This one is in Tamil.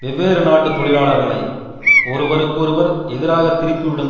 வெவ்வேறு நாட்டு தொழிலாளர்களை ஒருவருக்கு ஒருவர் எதிராக திருப்பிவிடும்